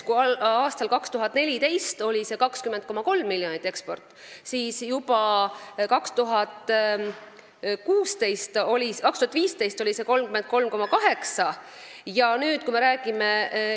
Kui 2014. aastal oli eksport 20,3 miljonit, siis 2015. aastal oli see juba 33,8 miljonit eurot.